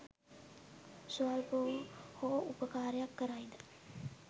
ස්වල්ප වූ හෝ උපකාරයක් කරයි ද?